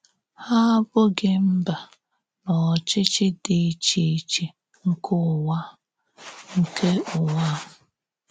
Hà àbụ́ghị mbà na òchịchì dị iche iche nke ǔwà a. nke ǔwà a.